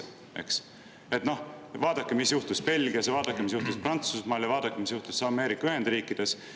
et vaadake, mis juhtus Belgias, ja vaadake, mis juhtus Prantsusmaal, ja vaadake, mis juhtus Ameerika Ühendriikides.